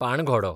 पाणघोडो